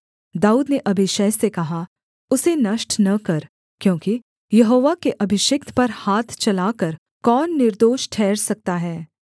दाऊद ने अबीशै से कहा उसे नष्ट न कर क्योंकि यहोवा के अभिषिक्त पर हाथ चलाकर कौन निर्दोष ठहर सकता है